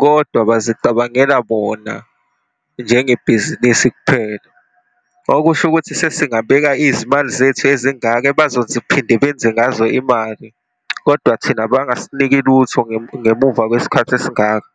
kodwa bazicabangela bona, njengebhizinisi kuphela. Okusho ukuthi sesingabeka izimali zethu ezingaka, ebazothiphinde benze ngazo imali, kodwa thina bangasiniki lutho, ngemuva kwesikhathi esingaka.